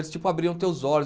Eles, tipo, abriam teus olhos.